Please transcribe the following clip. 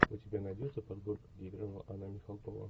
у тебя найдется подборка где играла анна михалкова